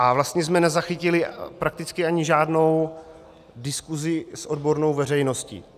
A vlastně jsme nezachytili prakticky ani žádnou diskuzi s odbornou veřejností.